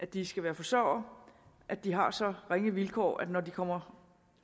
de skal være forsørgere at de har så ringe vilkår at når de kommer